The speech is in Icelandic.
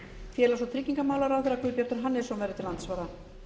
félags og tryggingamálaráðherra guðbjartur hannesson verður til andsvara